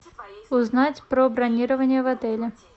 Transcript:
узнать про бронирование в отеле